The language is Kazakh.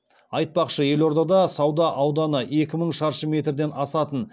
айтпақшы елордада сауда ауданы екі мың шаршы метрден асатын